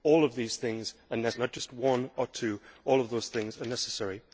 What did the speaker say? All of these things are necessary, not just one or two all of those things are necessary.